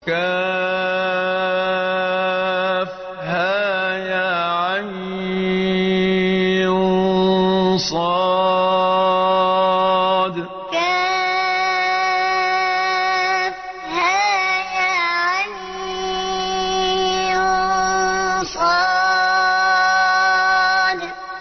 كهيعص كهيعص